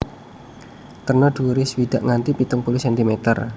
Terna dhuwuré swidak nganti pitung puluh centimeter